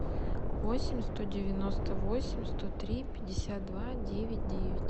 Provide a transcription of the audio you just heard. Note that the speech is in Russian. восемь сто девяносто восемь сто три пятьдесят два девять девять